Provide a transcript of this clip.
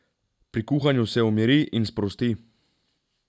Pri kuhanju se umiri in sprosti.